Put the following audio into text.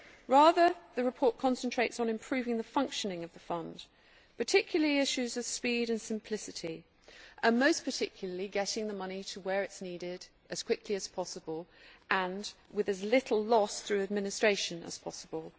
Rather, the report concentrates on improving the functioning of the Fund and particularly on the issues of speed and simplicity and getting the money to where it is needed as quickly as possible and with as little loss through administration as possible.